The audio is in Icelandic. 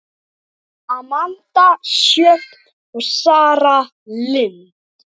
Amanda Sjöfn og Sara Lind.